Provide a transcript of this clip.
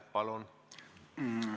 Palun!